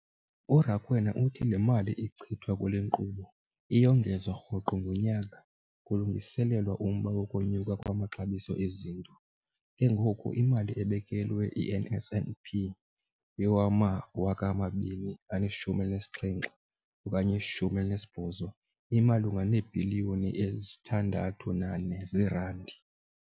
URakwena uthi le mali ichithwa kule nkqubo iyongezwa rhoqo ngonyaka kulungiselelwa umba wokunyuka kwamaxabiso ezinto, ke ngoko imali ebekelwe i-NSNP yowama-2017 okanye 18 imalunga neebhiliyoni eziyi-6.4 zeerandi.